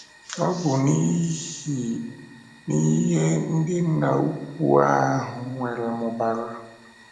Ọ́ bụ n’ihi na ihe ndị Nna Ukwú ahụ nwere mụbara.